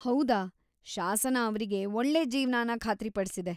ಹೌದಾ! ಶಾಸನ ಅವ್ರಿಗೆ ಒಳ್ಳೇ ಜೀವ್ನನ ಖಾತ್ರಿ ಪಡ್ಸಿದೆ.